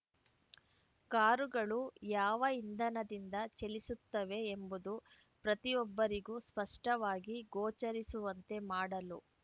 ಕಾರುಗಳು ಯಾವ ಇಂಧನದಿಂದ ಚಲಿಸುತ್ತವೆ ಎಂಬುದು ಪ್ರತಿಯೊಬ್ಬರಿಗೂ ಸ್ಪಷ್ಟವಾಗಿ ಗೋಚರಿಸುವಂತೆ ಮಾಡಲು